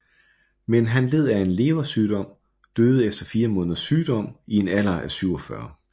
Men han led af en leversygdom og døde efter fire måneders sygdom i en alder af 47